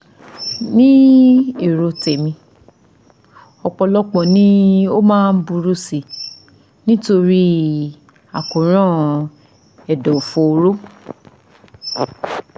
Ní èrò tèmi, ọ̀pọ̀lọpọ̀ ni o máa ń burú sí i nítorí àkóràn ẹ̀dọ̀fóró